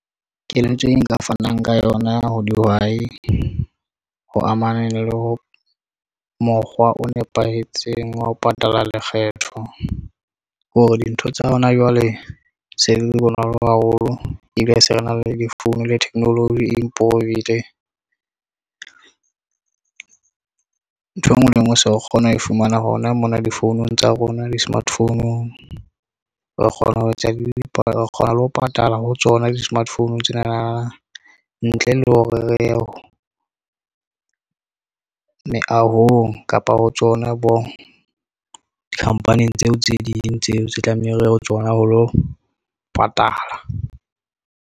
Keletso e nka fanang ka yona ho dihwai ho amaneng le ho mokgwa o nepahetseng wa ho patala lekgetho, hore dintho tsa hona jwale.Se di le bonolo haholo ebile se re na le di-founu le theknoloji improve-ile. Ntho e nngwe le e nngwe se o kgona ho fumana hona mona difounung tsa rona di-smart phone-ung re kgona ho etsa , re kgona le ho patala ho tsona di-smart phone tsenana, ntle le hore re ye meahong kapa ho tsona bo company, tseo tse ding tseo tse tlameha re ho tsona ho lo patala.